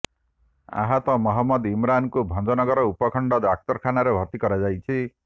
ଆହତ ମହମ୍ମଦ ଇମ୍ରାନକୁ ଭଞ୍ଜନଗର ଉନଖଣ୍ଡ ଡାକ୍ତରଖାନାରେ ଭର୍ତ୍ତି କରାଯାଇଛି